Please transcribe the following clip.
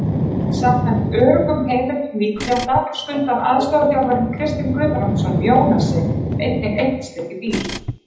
Samkvæmt öruggum heimildum Víkurfrétta skuldar aðstoðarþjálfarinn Kristinn Guðbrandsson Jónasi einnig eitt stykki bíl.